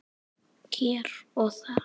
Hér og þar.